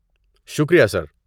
شکریہ سر۔